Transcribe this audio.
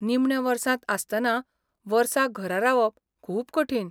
निमण्या वर्सांत आसतना वर्सा घरा रावप खूब कठीण